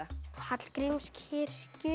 Hallgrímskirkja